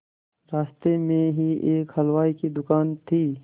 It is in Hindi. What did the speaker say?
रास्ते में ही एक हलवाई की दुकान थी